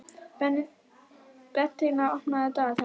Bentína, opnaðu dagatalið mitt.